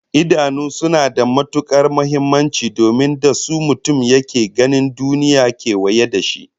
Idanu suna da matukar muhimmanci domin da su mutum yake ganin duniyar kewaye da shi